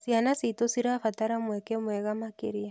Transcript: Ciana citũ cirabatara mweke mwega makĩria.